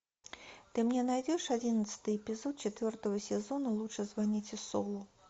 ты мне найдешь одиннадцатый эпизод четвертого сезона лучше звоните солу